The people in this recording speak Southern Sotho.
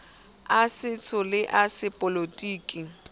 a setso le a sepolotiki